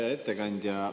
Hea ettekandja!